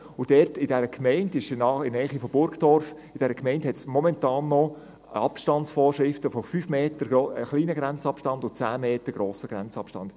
Dort, in dieser Gemeinde in der Nähe von Burgdorf, gibt es momentan Abstandsvorschriften von 5 Metern für den kleinen Grenzabstand und von 10 Metern für den grossen Grenzabstand.